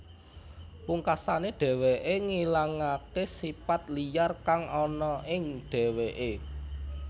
Pungkasané dheweké ngilangaké sipat liyar kang ana ing dheweké